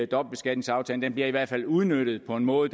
dobbeltbeskatningsaftalen det bliver i hvert fald udnyttet på en måde